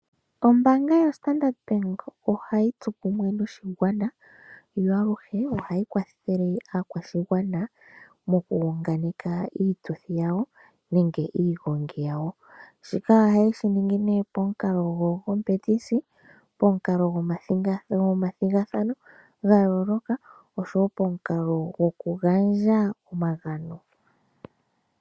Ombaanga yoStandard bank ohayi tsu kumwe noshigwana yo aluhe ohayi kwathele aakwashigwana mokuunganeka iituthi yawo nenge iigongi yawo. Shika ohaye shi ningi nee pomukalo gwookompetisi, pomukalo gwomathigathano ga yooloka osho woo pomukalo gwokugandja omagano.